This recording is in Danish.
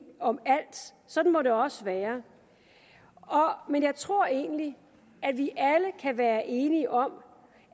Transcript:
om alt sådan må det også være men jeg tror egentlig at vi alle kan være enige om